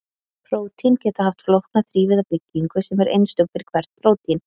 Prótín geta haft flókna þrívíða byggingu sem er einstök fyrir hvert prótín.